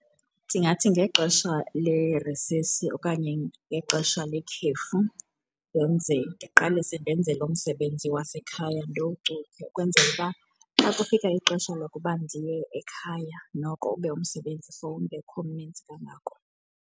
Ndingathi ngexesha le-recess okanye ngexesha lekhefu ndenze, ndiqalise ndenze lo msebenzi wasekhaya ndiwucuthe ukwenzela uba xa kufika ixesha lokuba ndiye ekhaya noko ube umsebenzi sowungekho mninzi kangako.